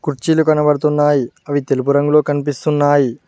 కుర్చీలు కనబడుతున్నాయి అవి తెలుపు రంగులో కనిపిస్తున్నాయి.